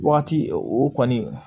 Wagati o kɔni